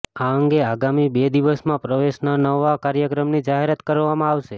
આ અંગે આગામી બે દિવસમાં પ્રવેશના નવા કાર્યક્રમની જાહેરાત કરવામાં આવશે